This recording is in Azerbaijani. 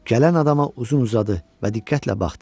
Gələn adama uzun-uzadı və diqqətlə baxdı.